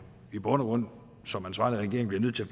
i bund og grund som ansvarlig regering bliver nødt til